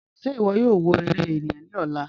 Ṣẹ̀ ìwọ̀ yóò wọ̀ èrè ènìyàn ni ọ̀lá?"